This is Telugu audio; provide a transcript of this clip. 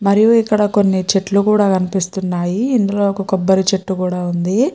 మరియు ఇక్కడ కొన్ని చెట్లు కూడా కనిపిస్తున్నాయి ఇందులో ఒక కొబ్బరి చెట్టు కూడా ఉంది.